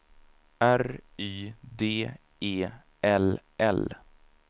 R Y D E L L